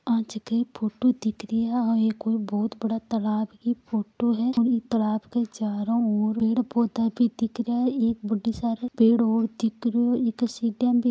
यहा की फोटो दिख रहा है या एक बहुत बड़ा तालाब है की फोटो है ब तालाब के चारो और पेड़ पोधा भी दिख रहा है एक बहुत सारे पेड़ है इ के सिडिया भी है।